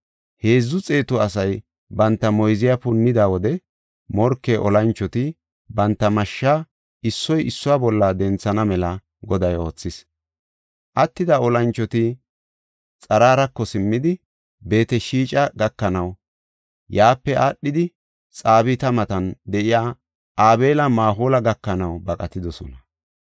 Heedzu xeetu asay banta moyziya punnida wode morke olanchoti banta mashshaa issoy issuwa bolla denthana mela Goday oothis. Attida olanchoti Xararako simmidi Beet-Shixa gakanaw, yaape aadhidi, Xabaata matan de7iya Abeel-Mahoola gakanaw baqatidosona.